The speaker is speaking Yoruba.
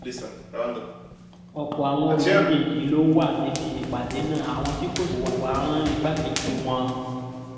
ọ̀pọ̀ àwọn olùdíje yìí ló wà níbi ìpàdé náà àwọn tí kò sì wá rán igbákejì wọn